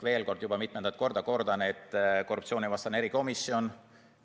Veel kord, juba mitmendat korda ma kordan, et meil on korruptsioonivastane erikomisjon.